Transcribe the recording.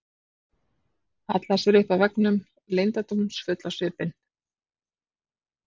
Hallar sér upp að veggnum, leyndardómsfull á svipinn.